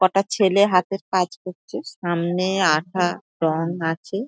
কটা ছেলে হাতের কাজ করছে সামনে আঠা রঙ আছে।